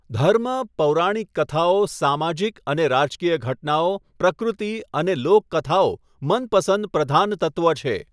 ધર્મ, પૌરાણિક કથાઓ, સામાજિક અને રાજકીય ઘટનાઓ, પ્રકૃતિ અને લોકકથાઓ મનપસંદ પ્રધાનતત્ત્વ છે.